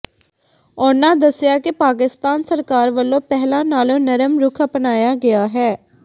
ਉਨ੍ਹਾਂ ਦੱਸਿਆ ਕਿ ਪਾਕਿਸਤਾਨ ਸਰਕਾਰ ਵੱਲੋਂ ਪਹਿਲਾਂ ਨਾਲੋਂ ਨਰਮ ਰੁਖ਼ ਅਪਣਾਇਆ ਗਿਆ ਹੈ